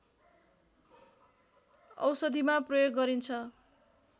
औषधिमा प्रयोग गरिन्छ